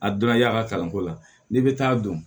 A donna y'a ka kalanko la n'i bɛ taa dun